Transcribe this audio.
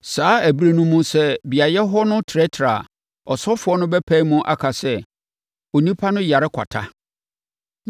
Saa ɛberɛ no mu sɛ beaeɛ hɔ no trɛtrɛ a, ɔsɔfoɔ no bɛpae mu aka sɛ, onipa no yare kwata.